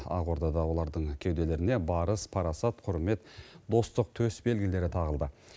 ақордада олардың кеуделеріне барыс парасат құрмет достық төсбелгілері тағылды